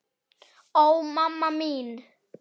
Ó, mamma mín.